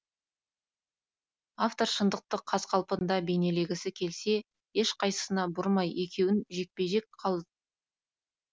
автор шындықты қаз қалпында бейнелегісі келсе ешқайсына бұрмай екеуін жекпе жек қал